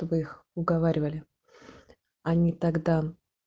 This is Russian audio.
чтобы их уговаривали они тогда